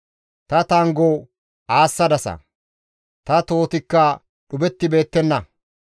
Ta tanggo aassadasa; ta tohotikka dhuphettibeettenna.